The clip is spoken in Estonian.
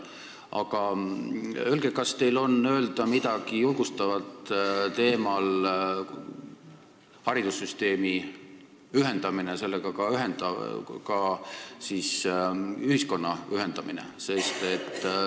Aga öelge, kas teil on öelda midagi julgustavat teemal "Haridussüsteemi ühendamine ühiskonnaga"?